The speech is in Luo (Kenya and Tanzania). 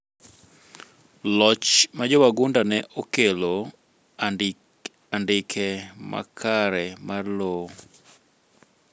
loch ma jowagunda ne okelo andike makare mar lowo